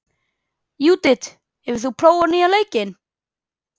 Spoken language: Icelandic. Júdit, hefur þú prófað nýja leikinn?